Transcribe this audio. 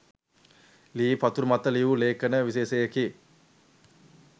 ලී පතුරු මත ලියූ ලේඛන විශේෂයකි.